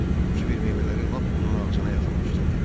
Kiber meyvələri lap onun ağzına yaxınlaşdırdı.